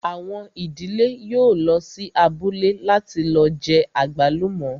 Àwọn ìdílé yóò lọ sí abúlé láti lọ jẹ àgbálùmọ́